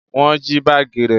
Wọn jí baagi rẹ